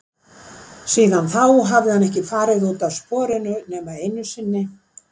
Síðan þá hafði hann ekki farið út af sporinu nema einu sinni.